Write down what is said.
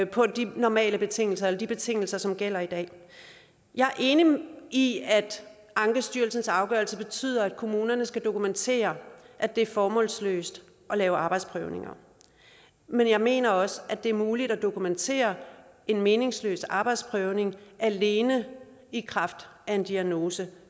på de normale betingelser eller de betingelser som gælder i dag jeg er enig i at ankestyrelsens afgørelse betyder at kommunerne skal dokumentere at det er formålsløst at lave arbejdsprøvninger men jeg mener også at det er muligt at dokumentere en meningsløs arbejdsprøvning alene i kraft af en diagnose